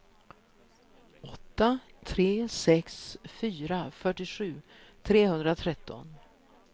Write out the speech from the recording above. åtta tre sex fyra fyrtiosju trehundratretton